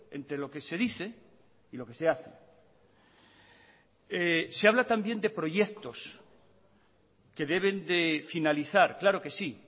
entre lo que se dice y lo que se hace se habla también de proyectos que deben de finalizar claro que sí